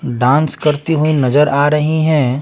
Dance करतीं हुई नजर आ रही हैं।